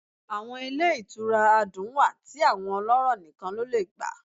Awọn ile itúra adún wá ti awọn ọlọrọ níkán lọ le gbá